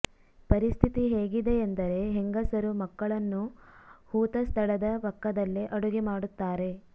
ಪರಿಸ್ಥಿತಿ ಹೇಗಿದೆಯೆಂದರೆ ಹೆಂಗಸರು ಮಕ್ಕಳನ್ನು ಹೂತ ಸ್ಥಳದ ಪಕ್ಕದಲ್ಲೇ ಅಡುಗೆ ಮಾಡುತ್ತಾರೆ